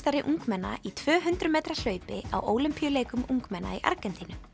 ungmenna í tvö hundruð metra hlaupi á Ólympíuleikum ungmenna í Argentínu